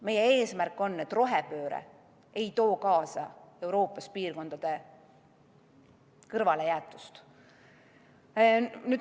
Meie eesmärk on, et rohepööre ei tooks Euroopas kaasa mõningate piirkondade kõrvalejäetust.